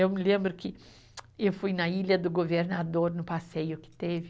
Eu me lembro que eu fui na Ilha do Governador, no passeio que teve,